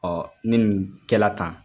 Ɔɔ ni nin kɛla tan